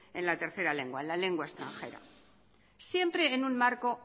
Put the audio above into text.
en la tercera lengua en la lengua extranjera siempre en un marco